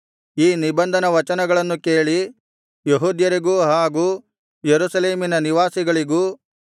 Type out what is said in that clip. ಈ ನಿಬಂಧನವಚನಗಳನ್ನು ಕೇಳಿ ಯೆಹೂದ್ಯರಿಗೂ ಹಾಗೂ ಯೆರೂಸಲೇಮಿನ ನಿವಾಸಿಗಳಿಗೂ